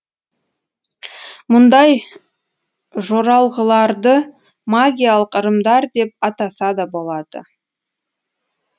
мұндай жоралғыларды магиялық ырымдар деп атаса да болады